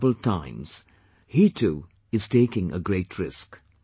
In these troubled times, he too is taking a great risk